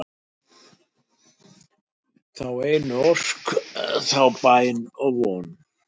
þá einu ósk, þá bæn og von